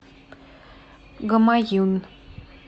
гамаюн